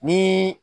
Ni